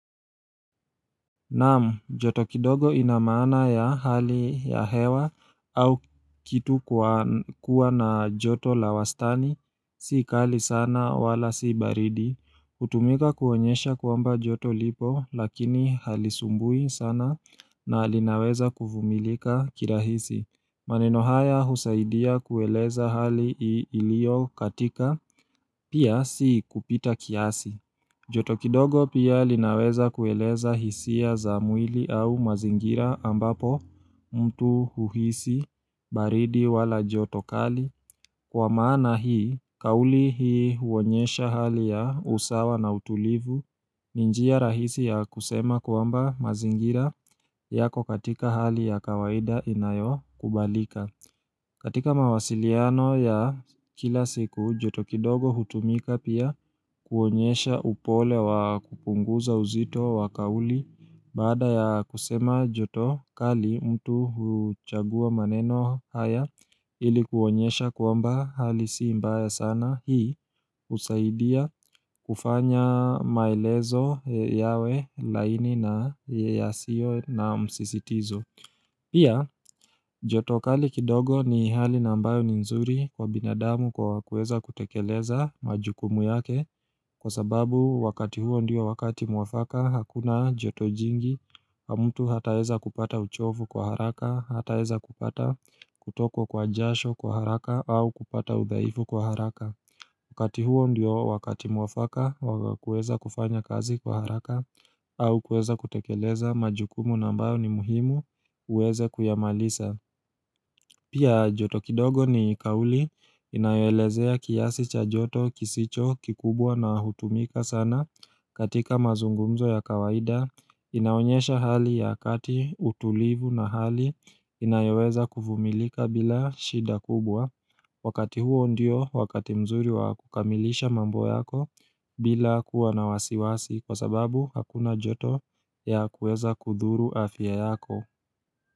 Nam, joto kidogo inamaana ya hali ya hewa au kitu kuwa na joto la wastani, si kali sana wala si baridi. Hutumika kuonyesha kwamba joto lipo lakini halisumbui sana na linaweza kuvumilika kirahisi. Maneno haya husaidia kueleza hali ilio katika, pia si kupita kiasi. Joto kidogo pia linaweza kueleza hisia za mwili au mazingira ambapo mtu huhisi baridi wala jotokali kwa maana hii kauli hii huonyesha hali ya usawa na utulivu ni njia rahisi ya kusema kwamba mazingira yako katika hali ya kawaida inayo kubalika. Katika mawasiliano ya kila siku joto kidogo hutumika pia kuonyesha upole wa kupunguza uzito wa kauli baada ya kusema joto kali mtu huchagua maneno haya ilikuonyesha kwamba hali si mbaya sana hii husaidia kufanya maelezo yawe laini na yasio na msisitizo. Pia, jotokali kidogo ni hali na ambayo ni nzuri kwa binadamu kwa kuweza kutekeleza majukumu yake Kwa sababu, wakati huo ndio wakati mwafaka, hakuna jotojingi Hamtu hata eza kupata uchofu kwa haraka, hata eza kupata kutoko kwa jasho kwa haraka au kupata udhaifu kwa haraka Wakati huo ndio wakati mwafaka, kueza kufanya kazi kwa haraka au kueza kutekeleza majukumu na ambao ni muhimu uweze kuyamaliza Pia joto kidogo ni kauli inayo elezea kiasi cha joto kisicho kikubwa na hutumika sana katika mazungumzo ya kawaida inaonyesha hali ya kati utulivu na hali inayoweza kuvumilika bila shida kubwa Wakati huo ndio wakati mzuri wa kukamilisha mambo yako bila kuwa na wasiwasi Kwa sababu hakuna joto ya kuweza kudhuru afya yako.